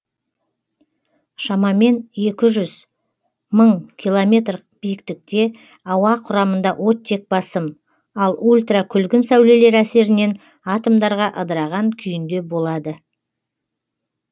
шамамен екі жүз мың километр биіктікте ауа құрамында оттек басым ал ультра күлгін сәулелер әсерінен атомдарға ыдыраған күйінде болады